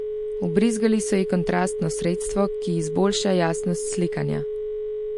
Vbrizgali so ji kontrastno sredstvo, ki izboljša jasnost slikanja.